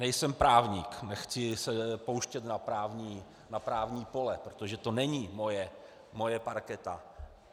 Nejsem právník, nechci se pouštět na právní pole, protože to není moje parketa.